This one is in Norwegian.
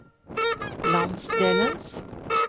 landsdelens